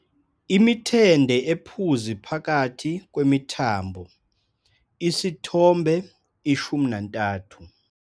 Imithende ephuzi phakathi kwemithambo, Isithombe 13.